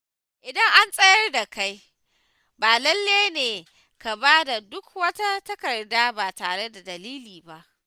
Idan an tsayar da kai, ba lallai ne ka bada duk wata takarda ba tare da dalili ba.